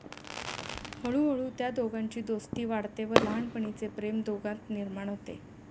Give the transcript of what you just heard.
हळूहळू त्या दोघांची दोस्ती वाढते व लहानपणीचे प्रेम दोघांत निर्माण होते.